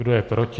Kdo je proti?